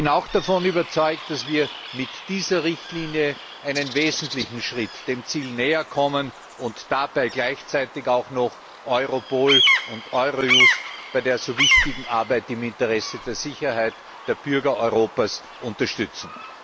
Ich bin auch davon überzeugt, dass wir mit dieser Richtlinie einen wesentlichen Schritt dem Ziel näherkommen und dabei gleichzeitig auch noch Europol und Eurojust bei der so wichtigen Arbeit im Interesse der Sicherheit der Bürger Europas unterstützen.